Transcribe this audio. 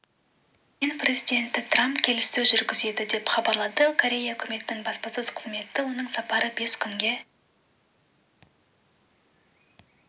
мен президенті трамп келіссөз жүргізеді деп хабарлады корея үкіметінің баспасөз қызметі оның сапары бес күнге